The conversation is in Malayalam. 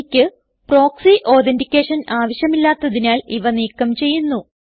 എനിക്ക് പ്രോക്സി അതെന്റിക്കേഷൻ ആവശ്യമില്ലാത്തതിനാൽ ഇവ നീക്കം ചെയ്യുന്നു